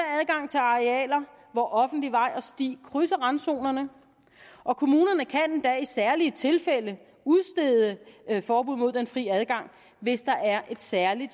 adgang til arealer hvor offentlig vej og sti krydser randzonerne og kommunerne kan endda i særlige tilfælde udstede forbud mod den fri adgang hvis der er særlige